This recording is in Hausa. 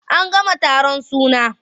An gama taron suna.